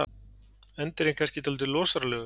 Endirinn kannski dálítið losaralegur.